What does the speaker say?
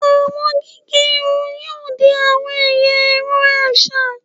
Awọn gige irun yoo di awọn ẹya ẹrọ aṣa